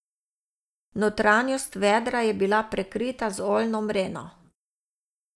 Notranjost vedra je bila prekrita z oljno mreno.